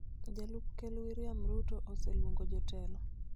Jalup Ker William Ruto oseluongo jotelo